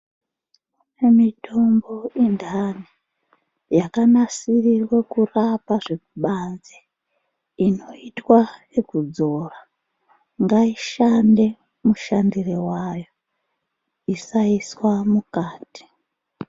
Mitombo yendani yakanasirirwe kurapa zvekubanze inoitwa yekudzora. Ngaishande mushandire vayo isaiswa mukati.